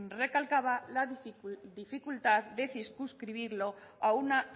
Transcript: recalcaba la dificultad de circunscribirlo a una